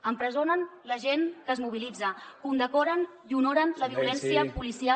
empresonen la gent que es mobilitza condecoren i honoren la violència policial